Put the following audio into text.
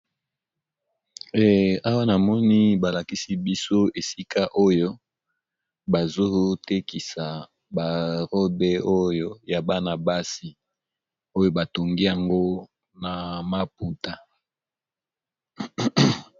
Awa na moni ba lakisi biso esika oyo bazo tekisa ba robe oyo ya bana basi, oyo ba tongi yango na maputa.